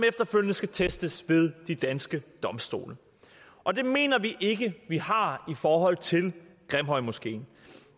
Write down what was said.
efterfølgende skal testes ved de danske domstole og det mener vi ikke at vi har i forhold til grimhøjmoskeen